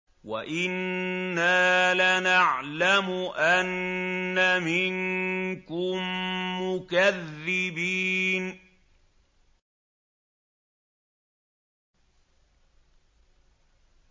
وَإِنَّا لَنَعْلَمُ أَنَّ مِنكُم مُّكَذِّبِينَ